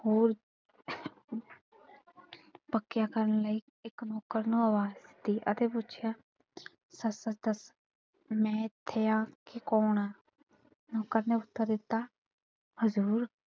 ਹੋਰ ਪੱਕਿਆਂ ਕਰਨ ਲਈ ਇੱਕ ਨੌਕਰ ਨੂੰ ਆਵਾਜ਼ ਦਿੱਤੀ ਅਤੇ ਪੁੱਛਿਆ ਸੱਚ ਸੱਚ ਦੱਸ ਮੈਂ ਕਿੱਥੇ ਆਂ ਤੇ ਕੌਣ ਆਂ? ਨੌਕਰ ਨੇ ਉੱਤਰ ਦਿੱਤਾ। ਹਜ਼ੂਰ,